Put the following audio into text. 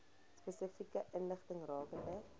spesifieke inligting rakende